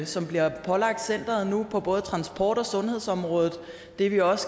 som bliver pålagt centeret nu på både transport og sundhedsområdet det vi også